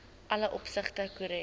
alle opsigte korrek